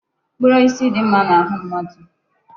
Mkpụrụ osisi dị mma n'ahụ mmadụ.